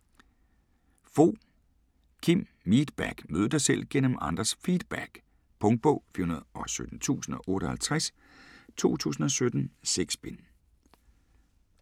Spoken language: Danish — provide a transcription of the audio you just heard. Fogh, Kim: Meetback: mød dig selv gennem andres feedback Punktbog 417058 2017. 6 bind.